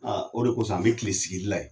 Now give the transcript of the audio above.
Aaa o de kosɔn an be kile sigi li la a yen